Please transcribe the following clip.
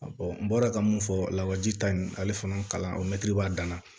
n bɔra ka mun fɔ lawaji ta in ale fana kalan o mɛtiri b'a dan na